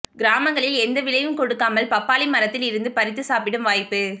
கிராமங்களில் எந்த விலையும் கொடுக்காமல் பப்பாளி மரத்தில் இருந்து பறித்து சாப்பிடும் வாய்ப்பு